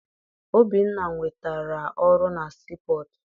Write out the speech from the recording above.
Obinna nwetara ọrụ na sii pọtụ.